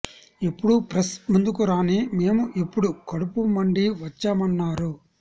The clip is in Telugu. ఎప్పుడూ ప్రెస్ ముందుకు రాని మేము ఇప్పుడు కడుపు మండి వచ్చామన్నారు